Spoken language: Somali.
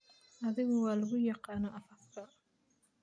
Adhigu waa lagu yaqaanaa afafka.